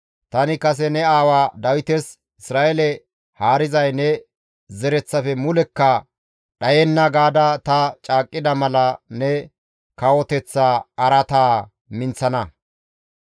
tani kase ne aawa Dawites, ‹Isra7eele haarizay ne zereththafe mulekka dhayenna› gaada ta caaqqida mala ne kawoteththa araataa ta minththana.